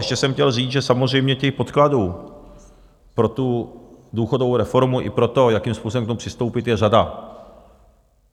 Ještě jsem chtěl říct, že samozřejmě těch podkladů pro tu důchodovou reformu i pro to, jakým způsobem k tomu přistoupit, je řada.